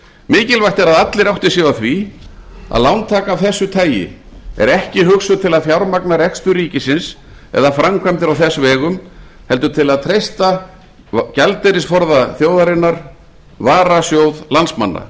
mikilvægt er að allir átti sig á því að lántaka af þessu tagi er ekki hugsuð til að fjármagna rekstur ríkisins eða framkvæmdir á þess vegum heldur til að treysta gjaldeyrisforða þjóðarinnar varasjóð landsmanna